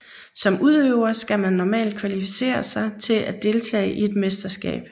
Som udøver skal man normalt kvalificere sig til at deltage i et mesterskab